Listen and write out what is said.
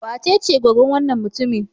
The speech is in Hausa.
Wacece goggon wannan mutumin?